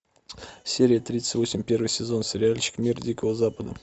серия тридцать восемь первый сезон сериальчик мир дикого запада